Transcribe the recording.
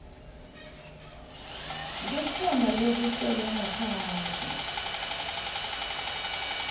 kukhona lokusele ngaphandle